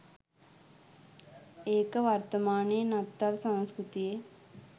ඒක වර්තමානෙ නත්තල් සංස්කෘතියෙ